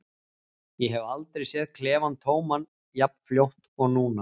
Ég hef aldrei séð klefann tóman jafn fljótt og núna.